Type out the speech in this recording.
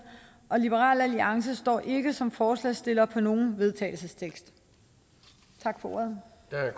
liberal alliance står ikke som forslagsstiller til nogen vedtagelsestekst tak for ordet